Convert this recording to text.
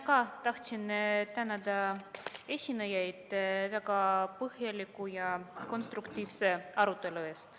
Ka mina tahtsin tänada esinejaid väga põhjaliku ja konstruktiivse arutelu eest.